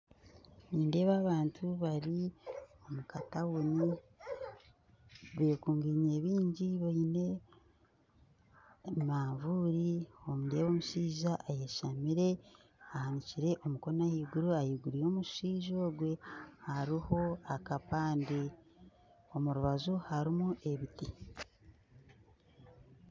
Nindeeba abantu bari omu katauni bekunginye baingi baine emanvuuri nindeeba omushaija ayeshamire ahanikire omukono ahaiguru, ahaiguru y'omushaija ogwe hariho akapande omurubaju harumu ebiti.